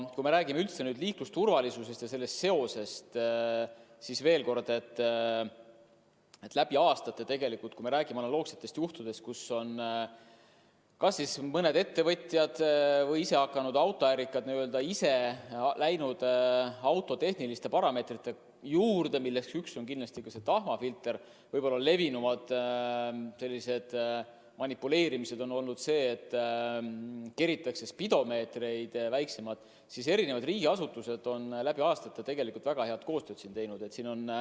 Kui me räägime üldse liiklusturvalisusest selles seoses, kui me räägime analoogsetest juhtudest, kus on kas mõni ettevõtja või isehakanud autoärikas läinud auto tehniliste parameetrite muutmise kallale – üks neist on kindlasti tahmafiltri eemaldamine, aga levinuim selline manipuleerimine on olnud, et keritakse spidomeetri näitu väiksemaks –, siis eri riigiasutused on selle vastu aastate jooksul väga head koostööd teinud.